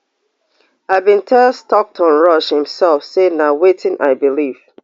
i bin tell stockton rush imsef say na wetin i beliv